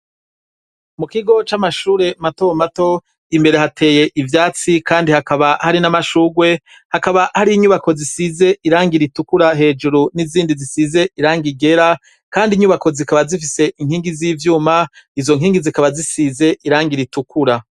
Mu kigo c'amashure mato mato imbere hateye ivyatsi kandi hakaba hari n'amashugwe hakaba hari inyubako zisize irangira ritukura hejuru n'izindi zisize irangi ryera kandi inyubako zikaba zifise inkingi z'ivyuma izo nkingi zikaba zisize irangira ritukura.